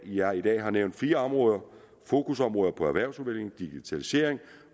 jeg i dag har nævnt fire fokusområder erhvervsudvikling digitalisering